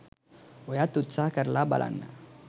ඔයත් උත්සහ කරලා බලන්න.